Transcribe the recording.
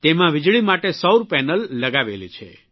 તેમાં વીજળી માટે સૌર પેનલ લગાવેલી છે